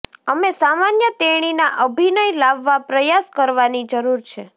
અમે સામાન્ય તેણીના અભિનય લાવવા પ્રયાસ કરવાની જરૂર છે